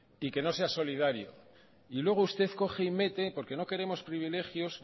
y que no sea solidario y luego usted coge y mete porque no queremos privilegios